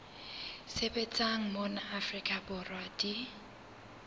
sebetsang mona afrika borwa di